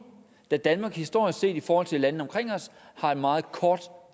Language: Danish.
da danmark historisk set i forhold til landene omkring os har en meget kort